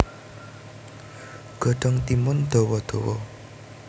Godhong timun dawa dawa